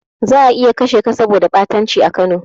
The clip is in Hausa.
Za'a iya kashe ka saboda ɓatanci a Kano.